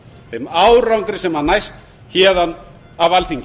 þeim árangri sem næst héðan af alþingi